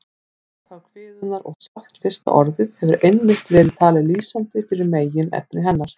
Upphaf kviðunnar og sjálft fyrsta orðið hefur einmitt verið talið lýsandi fyrir meginefni hennar.